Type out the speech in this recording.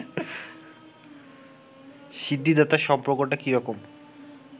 সিদ্ধিদাতার সম্পর্কটা কী রকম